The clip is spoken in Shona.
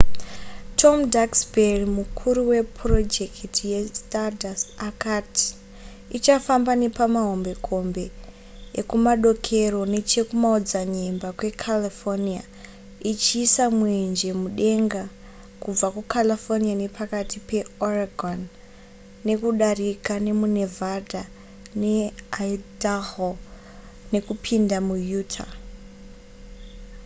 tom duxbury mukuru wepurojekiti yestardust akati ichafamba nepamahombekombe ekumadokero nechekumaodzanyemba kwecalifornia ichiisa mwenje mudenga kubva kucalifornia nepakati peoregon nekudarika nemunevada neidaho nekupinda muutah